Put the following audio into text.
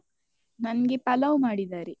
ನನ್ಗೆ ಪಲಾವ್ ಮಾಡಿದ್ದಾರೆ.